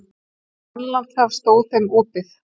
Grænlandshaf stóð þeim opið.